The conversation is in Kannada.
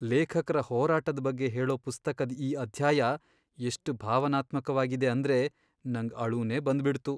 ಲೇಖಕ್ರ ಹೋರಾಟದ್ ಬಗ್ಗೆ ಹೇಳೋ ಪುಸ್ತಕದ್ ಈ ಅಧ್ಯಾಯ ಎಷ್ಟ್ ಭಾವನಾತ್ಮಕ್ವಾಗಿದೆ ಅಂದ್ರೆ ನಂಗ್ ಅಳುನೇ ಬಂದ್ಬಿಡ್ತು.